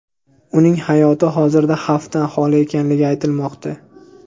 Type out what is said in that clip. Uning hayoti hozirda xavfdan holi ekanligi aytilmoqda.